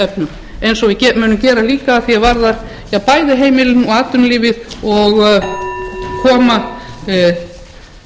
efnum eins og við munum gera líka að því er varðar bæði heimilin og atvinnulífið og að koma þessu efnahagslífi í gang